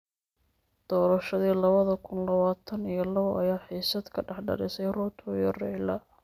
Doorashadii lawada kun lawatan iyo lawo ayaa xiisad ka dhex dhalisay Ruto iyo Raila.